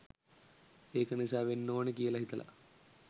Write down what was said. ඒක නිසා වෙන්න ඕනි කියල හිතල